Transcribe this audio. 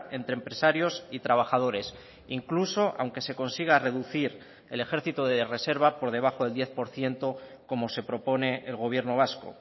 entre empresarios y trabajadores incluso aunque se consiga reducir el ejército de reserva por debajo del diez por ciento como se propone el gobierno vasco